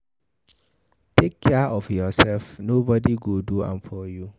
Take care of yourself, nobody go do am for you